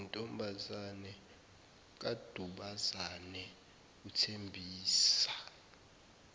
nentombazane kadubazane uthembisa